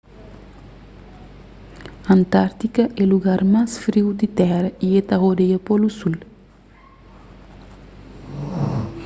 antárktida é lugar más friu di tera y ta rodeia polu sul